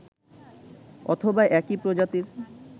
অথবা একই প্রজাতির